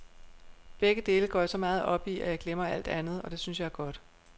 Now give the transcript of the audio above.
Begge dele går jeg så meget op i, at jeg glemmer alt andet, og det synes jeg er godt.